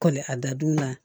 Kɔli a dadulu la